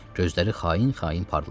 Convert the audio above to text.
Gözləri xain-xain parladı.